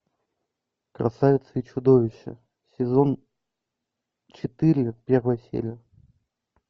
красавица и чудовище сезон четыре первая серия